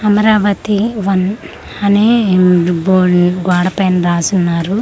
Amaravati one అనే ఉమ్మ్ bone గోడ పైన రాసి ఉన్నారు.